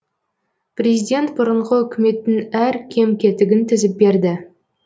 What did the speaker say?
президент бұрынғы үкіметтің әр кем кетігін тізіп берді